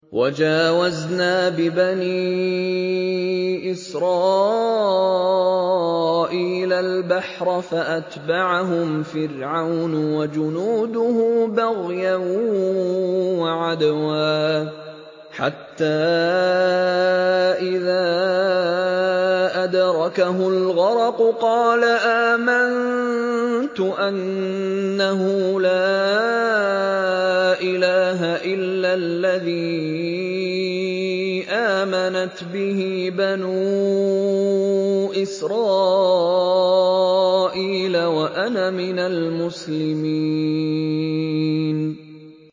۞ وَجَاوَزْنَا بِبَنِي إِسْرَائِيلَ الْبَحْرَ فَأَتْبَعَهُمْ فِرْعَوْنُ وَجُنُودُهُ بَغْيًا وَعَدْوًا ۖ حَتَّىٰ إِذَا أَدْرَكَهُ الْغَرَقُ قَالَ آمَنتُ أَنَّهُ لَا إِلَٰهَ إِلَّا الَّذِي آمَنَتْ بِهِ بَنُو إِسْرَائِيلَ وَأَنَا مِنَ الْمُسْلِمِينَ